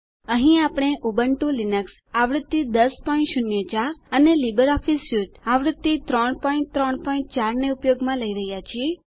અહીં આપણે Ubuntu Linux આવૃત્તિ 1004 અને લીબરઓફીસ સ્યુટ આવૃત્તિ 334 ને ઉપયોગમાં લઇ રહ્યાં છીએ